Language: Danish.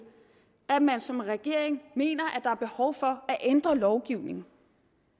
at man som regering mener der er behov for at ændre lovgivningen